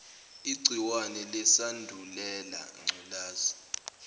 igciwane lesandulela ngculazi